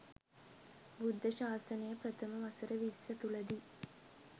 බුද්ධ ශාසනය ප්‍රථම වසර විස්ස තුළදී